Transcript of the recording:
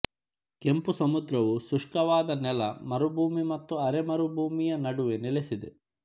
ಕೆಂಪು ಸಮುದ್ರವು ಶುಷ್ಕವಾದ ನೆಲ ಮರುಭೂಮಿ ಮತ್ತು ಅರೆಮರುಭೂಮಿಯ ನಡುವೆ ನೆಲೆಸಿದೆ